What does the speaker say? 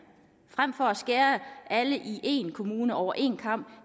frem for at skære alle i en kommune over én kam